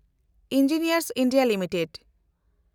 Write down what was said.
engineers India limited